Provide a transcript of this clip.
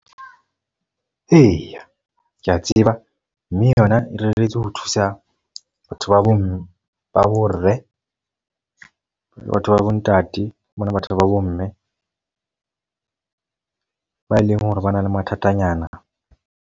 Eya, ke a tseba. Mme yona e reretswe ho thusa batho ba bo mme le batho ba bo ntate. Mona batho ba bo mme ba e leng hore ba na le mathatanyana.